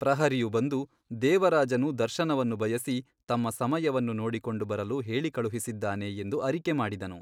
ಪ್ರಹರಿಯು ಬಂದು ದೇವರಾಜನು ದರ್ಶನವನ್ನು ಬಯಸಿ ತಮ್ಮ ಸಮಯವನ್ನು ನೋಡಿಕೊಂಡು ಬರಲು ಹೇಳಿಕಳುಹಿಸಿದ್ದಾನೆ ಎಂದು ಅರಿಕೆ ಮಾಡಿದನು.